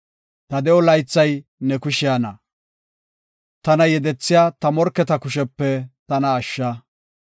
Ta de7o laythay ne kushiyana; tana yedethiya ta morketa kushepe tana ashsha.